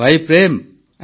ପ୍ରେମ୍ ଜୀ ଆଜ୍ଞା